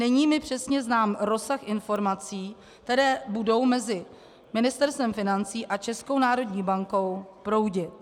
Není mi přesně znám rozsah informací, které budou mezi Ministerstvem financí a Českou národní bankou proudit.